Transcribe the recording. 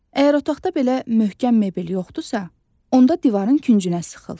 Əgər otaqda belə möhkəm mebel yoxdursa, onda divarın küncünə sıxıl.